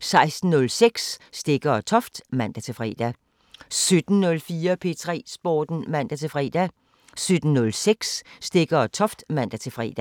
16:06: Stegger & Toft (man-fre) 17:04: P3 Sporten (man-fre) 17:06: Stegger & Toft (man-fre)